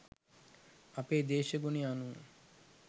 අපේ දේශගුණය අනුව